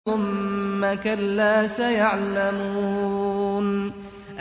ثُمَّ كَلَّا سَيَعْلَمُونَ